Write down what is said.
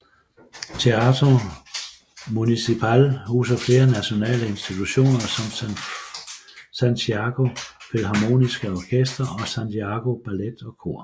Teatro Municipal huser flere nationale institutioner som Santiago Filharmoniske Orkester og Santiago Ballet og Kor